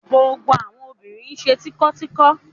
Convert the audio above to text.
Gbogbo àwọn obìnrin ṣe tínko-tínko.